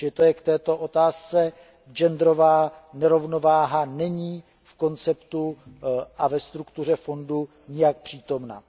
Tolik k této otázce, genderová nerovnováha není v konceptu a ve struktuře fondu nijak přítomna.